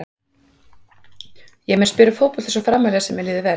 Ég mun spila fótbolta svo framarlega sem að mér líður vel.